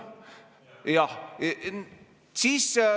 Jah.